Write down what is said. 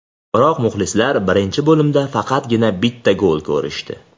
Biroq muxlislar birinchi bo‘limda faqatgina bitta gol ko‘rishdi.